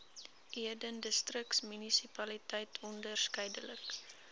eden distriksmunisipaliteit onderskeidelik